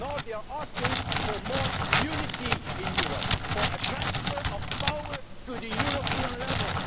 no, they are they asking for more unity in Europe, for a transfer of power to the European level.